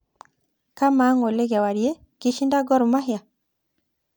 kamaa ngole kewarie kishinda gor mahia